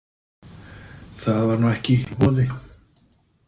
Það var nú ekki í boði.